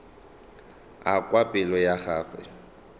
a kwa pelo ya gagwe